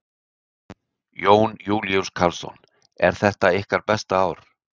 Jón Júlíus Karlsson: Er þetta ykkar besta ár?